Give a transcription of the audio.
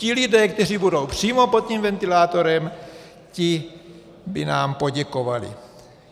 Ti lidé, kteří budou přímo pod tím ventilátorem, ti by nám poděkovali.